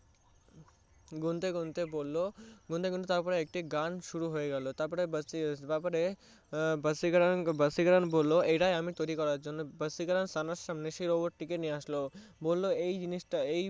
গুনতে গুনতে বললো গুনতে গুনতে তারপরে গান শুরু হয়ে গেলো তারপরে ভাসীকারান ভাসীকারান বললো এটাই আমি তৈরি করার জন্য ভাসীকারান সানার সামনে সেই Robot টি নিয়ে আসলো বললো এই জিনিসটা